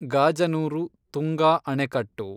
Gajanur Tunga ಆಣೆಕಟ್ಟು